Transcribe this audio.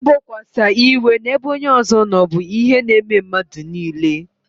I bokwasa iwe n'ebe onye ọzọ nọ bụ ihe n'eme mmadụ niile